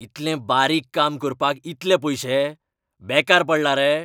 इतलें बारीक काम करपाक इतले पयशे? बेकार पडला रे?